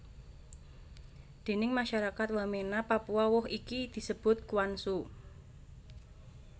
Déning masyarakat Wamena Papua woh iki disebut kuansu